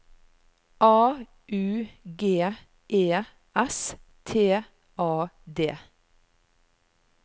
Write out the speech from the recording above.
A U G E S T A D